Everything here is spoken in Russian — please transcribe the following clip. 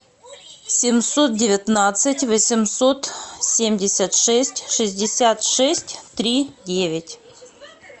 семьсот девятнадцать восемьсот семьдесят шесть шестьдесят шесть три девять